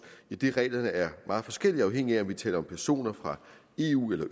idet reglerne er meget forskellige afhængigt af om vi taler om personer fra eu eller